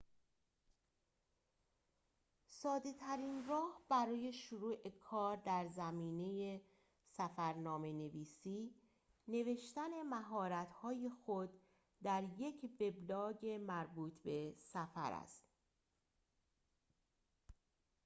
ساده ترین راه برای شروع کار در زمینه سفرنامه نویسی نوشتن مهارت های خود در یک وبلاگ مربوط به سفر است